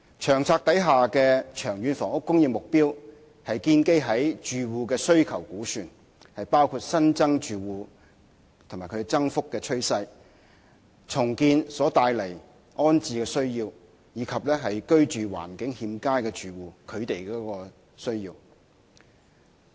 《策略》的長遠房屋供應目標是建基於住戶的需求估算，包括新增住戶及其增幅的趨勢，重建所帶來的安置需要，以及居住環境欠佳的住戶的需要。